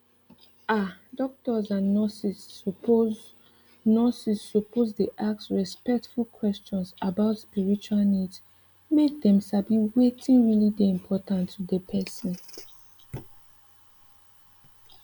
ah doctors and nurses suppose nurses suppose dey ask respectful questions about spiritual needs make dem sabi wetin really dey important to dey person